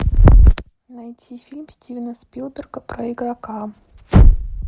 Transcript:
найти фильм стивена спилберга про игрока